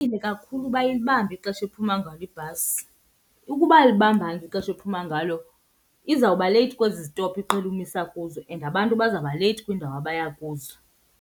kakhulu uba ilibambe ixesha ephuma ngalo ibhasi. Ukuba ayilibambanga ixesha ephuma ngalo izawuba leyithi kwezi zitopu iqhele umisa kuzo and abantu bazawuba leyithi kwiindawo abaya kuzo.